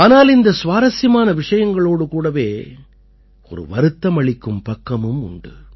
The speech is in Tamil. ஆனால் இந்த சுவாரசியமான விஷயங்களோடு கூடவே ஒரு வருத்தமளிக்கும் பக்கமும் உண்டு